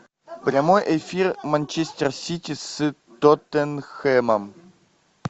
прямой эфир манчестер сити с тоттенхэмом